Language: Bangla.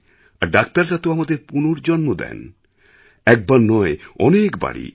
আর ডাক্তাররা তো আমাদের পুনর্জন্ম দেন একবারনয় অনেকবারই